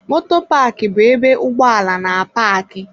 Moto Paaki bu ebe ụgbọ ala na-apaaki